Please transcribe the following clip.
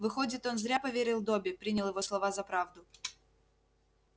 выходит он зря поверил добби принял его слова за правду